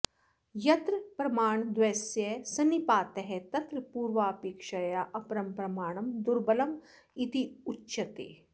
यत्र प्रमाणद्वयस्य सन्निपातः तत्र पूर्वापेक्षया अपरं प्रमाणं दुर्बलमित्युच्यते